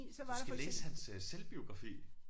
Du skal læse hans øh selvbiografi